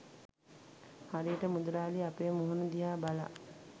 හරියට මුදලාලි අපේ මුහුණ දිහා බලා